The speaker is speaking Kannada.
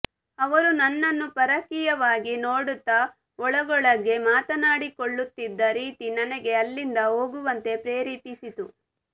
ಅವರು ನನ್ನನ್ನು ಪರಕೀಯವಾಗಿ ನೋಡುತ್ತಾ ಒಳಗೊಳಗೇ ಮಾತನಾಡಿಕೊಳ್ಳುತ್ತಿದ್ದ ರೀತಿ ನನಗೆ ಅಲ್ಲಿಂದ ಹೋಗುವಂತೆ ಪ್ರೇರೇಪಿಸಿತು